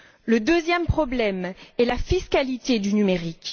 Le deuxième problème est la fiscalité du numérique.